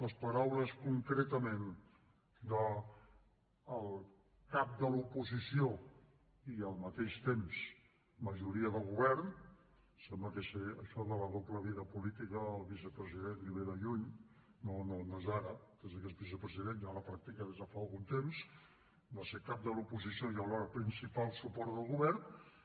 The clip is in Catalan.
les paraules concretament del cap de l’oposició i al mateix temps majoria de govern sembla que això de la doble vida política al vicepresident li ve de lluny no és d’ara des de que es vicepresident ja la practica des de fa algun temps va ser cap de l’oposició i alhora principal suport del govern